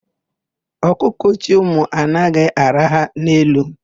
Ọkụkọ chị ụmụ anaghị araha n'elu.